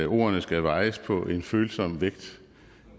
ordene skal vejes på en følsom vægt